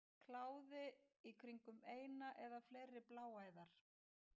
Kláði í kringum eina eða fleiri bláæðar.